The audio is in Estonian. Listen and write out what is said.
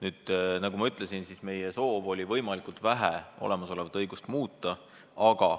Ja nagu ma ütlesin, meie soov oli võimalikult vähe olemasolevat õigust muuta.